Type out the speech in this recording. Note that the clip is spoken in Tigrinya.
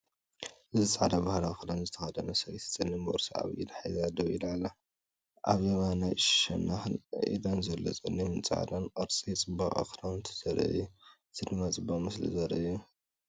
እዚ ጻዕዳ ባህላዊ ክዳን ዝተኸድነ ሰበይቲ ጸሊም ቦርሳ ኣብ ኢዳ ሒዛ ደው ኢላ ኣላ። ኣብ የማናይ ሸነኽን ኢዳን ዘሎ ጸሊምን ጻዕዳን ቅርጺ ጽባቐ ክዳውንቱ ዘርኢ'ዩ። እዚ ድማ ፅቡቅ ምስሊ ዘርኢ እዩ።